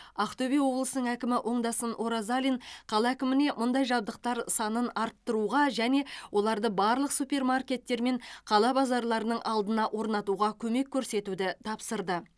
ақтөбе облысының әкімі оңдасын оразалин қала әкіміне мұндай жабдықтар санын арттыруға және оларды барлық супермаркеттер мен қала базарларының алдына орнатуға көмек көрсетуді тапсырды